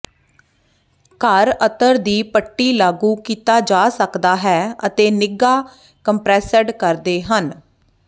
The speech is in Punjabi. ਘਰ ਅਤਰ ਦੀ ਪੱਟੀ ਲਾਗੂ ਕੀਤਾ ਜਾ ਸਕਦਾ ਹੈ ਅਤੇ ਨਿੱਘਾ ਕੰਪਰੈੱਸਡ ਕਰਦੇ ਹਨ